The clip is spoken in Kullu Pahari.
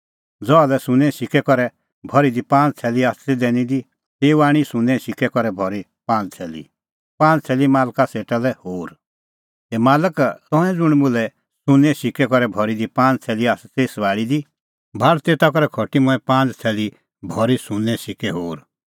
ज़हा लै सुन्नें सिक्कै करै भरी दी पांज़ थैली आसा ती दैनी दी तेऊ आणी सुन्नें सिक्कै करै भरी पांज़ थैली मालका सेटा लै होर संघा बोलअ तेऊ इहअ हे मालक तंऐं ज़ुंण मुल्है सुन्नें सिक्कै करै भरी पांज़ थैली आसा ती सभाल़ी दी भाल़ तेता करै खटी मंऐं पांज़ थैली भरी सुन्नें सिक्कै होर